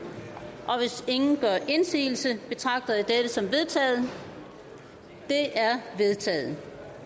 hvis ingen gør indsigelse betragter jeg dette som vedtaget vedtaget